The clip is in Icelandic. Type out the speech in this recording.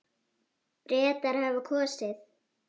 Bretar hafa kosið.